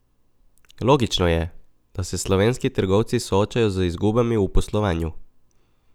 Logično je, da se slovenski trgovci soočajo z izgubami v poslovanju.